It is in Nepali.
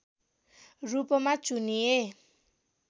रूपमा चुनिए